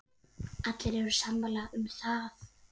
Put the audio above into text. Allir eru sammála um það.